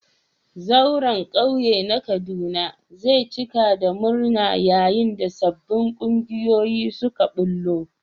Zauren kauye na Kaduna zai cika da murna yayin da sabbin kungiyoyi suka bullo.